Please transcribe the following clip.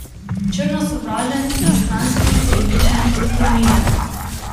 Črno sovražen, pristranski, krivičen, odklonilen.